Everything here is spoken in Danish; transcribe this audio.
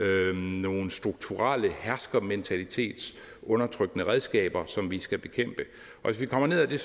nogle strukturelle herskermentalitetsundertrykkende redskaber som vi skal bekæmpe hvis vi kommer ned ad det